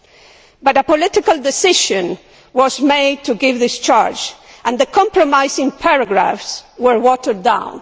However, a political decision was taken to give discharge and the compromising paragraphs were watered down.